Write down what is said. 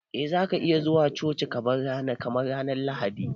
Eh za ka iya zuwa coci ko ba ranar Lahadi ba.